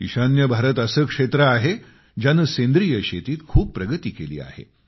ईशान्य भारत असे क्षेत्र आहे ज्याने सेंद्रिय शेतीत खूप प्रगती केली आहे